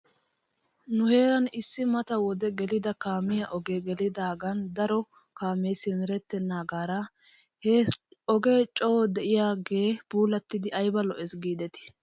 Nu heeran issi mata wode gelida kaamiyaa ogee gelidaagan daro kaamee simerettenaagaara he ogee coo de'iyaagee puulattidi ayba lo'es giidetii.